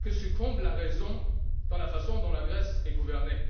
que succombe la raison dans la façon dont la Grèce est gouvernée.